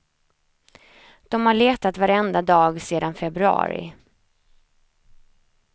De har letat varenda dag sedan februari.